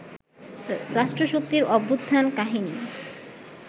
রাষ্ট্রশক্তির অভ্যুত্থান-কাহিনী